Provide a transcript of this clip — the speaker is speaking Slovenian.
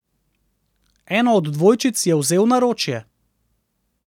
Eno od dvojčic je vzel v naročje.